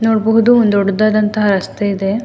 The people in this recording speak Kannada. ನೋಡಬಹುದು ಒಂದ್ ದೊಡ್ಡದಾದಂತಹ ರಸ್ತೆ ಇದೆ.